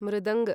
मृदङ्ग